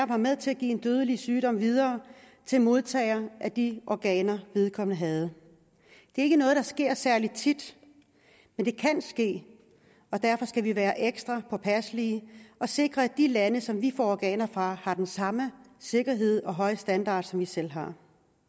var med til at give en dødelig sygdom videre til modtageren af de organer vedkommende havde det er ikke noget der sker særlig tit men det kan ske og derfor skal vi være ekstra påpasselige og sikre at de lande som vi får organer fra har den samme sikkerhed og høje standard som vi selv har